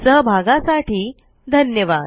सहभागासाठी धन्यवाद